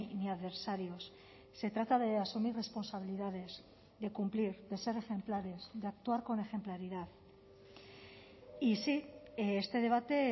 ni adversarios se trata de asumir responsabilidades de cumplir de ser ejemplares de actuar con ejemplaridad y sí este debate